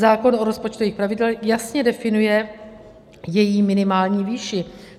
Zákon o rozpočtových pravidlech jasně definuje její minimální výši.